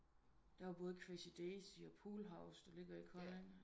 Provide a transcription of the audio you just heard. Der var både crazy daisy og pool house der ligger i Kolding